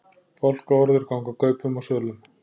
Fálkaorður ganga kaupum og sölum